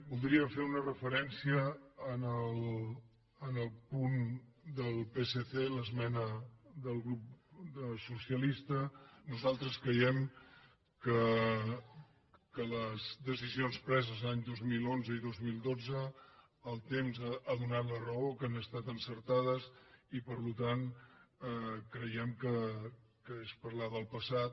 voldria fer una referència al punt del psc l’esmena del grup socialista nosaltres creiem que les decisions preses l’any dos mil onze i dos mil dotze el temps ha donat la raó que han estat encertades i per tant creiem que és parlar del passat